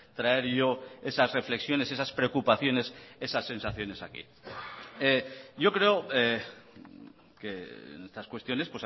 traer yo esas reflexiones esas preocupaciones esas sensaciones aquí yo creo que en estas cuestiones